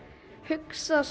hugsa